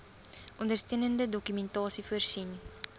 ondersteunende dokumentasie voorsien